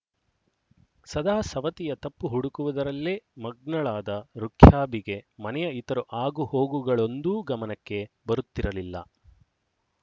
ಸದಾ ಸವತಿಯ ತಪ್ಪು ಹುಡುಕುವುದರಲ್ಲೇ ಮಗ್ನಳಾದ ರುಖ್ಯಾಬಿಗೆ ಮನೆಯ ಇತರ ಆಗು ಹೋಗುಗಳೊಂದೂ ಗಮನಕ್ಕೆ ಬರುತ್ತಿರಲಿಲ್ಲ